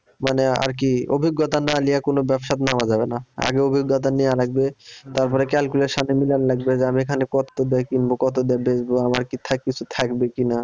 মানে আর কি অভিজ্ঞতা না নিয়ে কোন ব্যবসায় নামা যাবে না আগে অভিজ্ঞতা নেওয়া লাগবে তারপরে এর সাথে মিলান লাগবে যে আমি এখানে কত দিয়ে কিনব কত দিয়ে বেচবো আমার কি থাক কিছু থাকবে কিনা